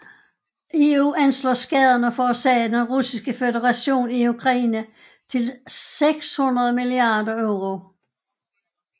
EU anslår skaderne forårsaget af Den Russiske Føderation i Ukraine til 600 milliarder euro